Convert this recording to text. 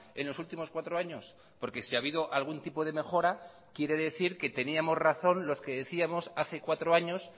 en los últimos cuatro años porque si ha habido algún tipo de mejora quiere decir que teníamos razón los que decíamos hace cuatro años